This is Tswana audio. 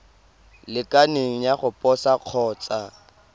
lekaneng ya go posa kgotsa